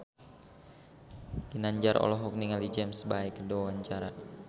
Ginanjar olohok ningali James Bay keur diwawancara